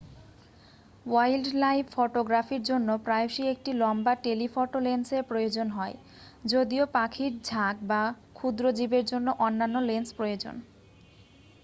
wildlife ফটোগ্রাফির জন্য প্রায়শই একটি লম্বা টেলিফটো লেন্সের প্রয়োজন হয় যদিও পাখির ঝাঁক বা ক্ষুদ্র জীবের জন্য অন্যান্য লেন্স প্রয়োজন